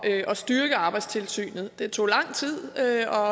at styrke arbejdstilsynet det tog lang tid og jeg har